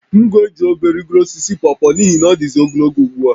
M ga-eji obe rịgoro osisi pọpọ a n'ihi na ọ dịzị ogologo ugbu a